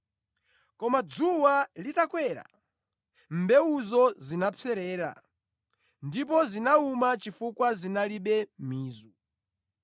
Koma dzuwa litakwera, mbewuzo zinapserera, ndipo zinawuma chifukwa zinalibe mizu.